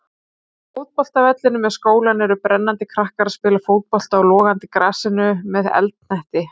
Á fótboltavellinum við skólann eru brennandi krakkar að spila fótbolta á logandi grasinu með eldhnetti.